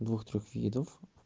двух трёх видов